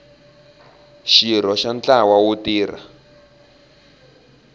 xirho xa ntlawa wo tirha